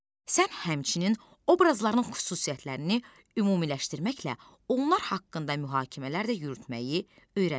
Sən həmçinin obrazların xüsusiyyətlərini ümumiləşdirməklə onlar haqqında mühakimələr də yürütməyi öyrənmisən.